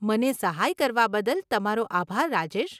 મને સહાય કરવા બદલ તમારો આભાર, રાજેશ.